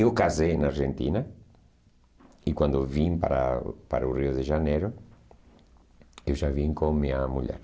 Eu me casei na Argentina e quando eu vim para para o Rio de Janeiro, eu já vim com a minha mulher.